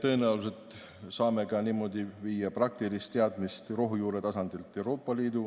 Tõenäoliselt saame niimoodi viia praktilist teadmist rohujuure tasandilt Euroopa Liidu